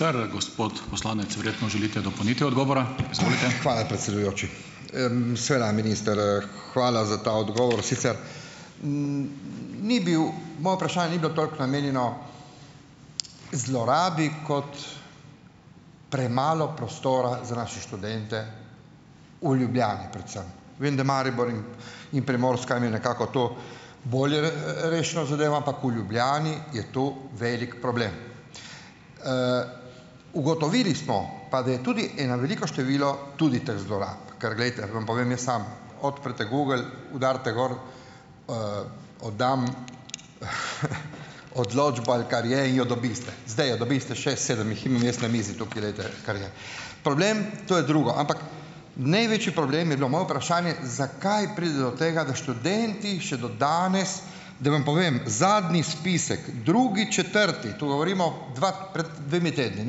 Hvala, predsedujoči. seveda minister, hvala za ta odgovor. Sicer ni bilo vprašanje ni bilo toliko namenjeno zlorabi kot premalo prostora za naše študente v Ljubljani predvsem. Vem, da Maribor in in Primorska imata nekako to bolje, rešeno zadevo, ampak v Ljubljani je to velik problem. Ugotovili smo pa, da je tudi ena veliko število tudi teh zlorab, ker glejte, vam povem, jaz sam, odprete Google, udarite gor "oddam odločbo", ali kar je, in jo dobite. Zdaj jo dobite, šest, sedem jih imam jaz na mizi, tukaj glejte, kar je. Problem, to je drugo, ampak največji problem je bilo moje vprašanje, zakaj pride do tega, da študenti še do danes da vam povem, zadnji spisek, drugi četrti, to govorimo dva pred dvema tednoma,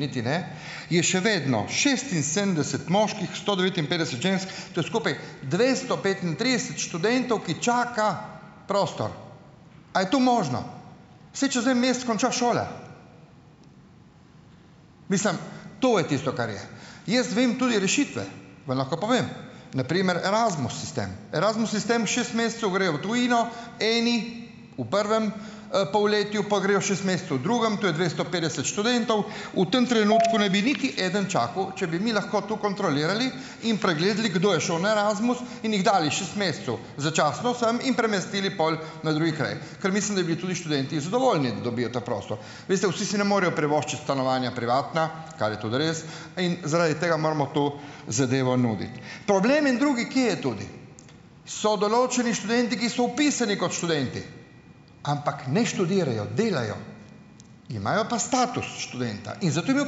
niti ne, je še vedno šestinsedemdeset moških, sto devetinpetdeset žensk, to je skupaj dvesto petintrideset študentov, ki čakajo prostor. Kaj to možno? Saj čez en mesec konča šola! Mislim, to je tisto, kar je. Jaz vem tudi rešitve, vam lahko povem. Na primer Erasmus sistem. Erasmus sistem, šest mesecev gre v tujino, eni v prvem, polletju, po grejo šest mesecev v drugem, to je dvesto petdeset študentov, v tem trenutku ne bi niti eden čakal, če bi mi lahko to kontrolirali in pregledali, kdo je šel na Erasmus, in jih dali šest mesecev začasno sem in premestili pol na drugi kraj, ker mislim, da bili tudi študentje zadovoljni, da dobijo ta prostor. Veste, vsi si ne morejo privoščiti stanovanja privatna, kar je tudi res, in zaradi tega moramo to zadevo nuditi. Problem en drugi, kje je tudi? So določeni študenti, ki so vpisani kot študenti, ampak ne študirajo, delajo, imajo pa status študenta in zato imajo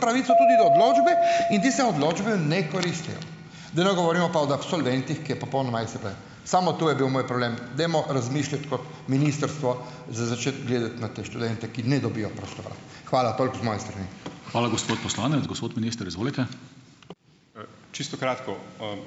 pravico tudi do odločbe in tiste odločbe ne koristijo. Da ne govorimo pa o absolventih, ki je popolnoma. Samo to je bil moj problem, dajmo razmišljati kot ministrstvo, z začeti gledati na te študente, ki ne dobijo prostora. Hvala, toliko z moje strani.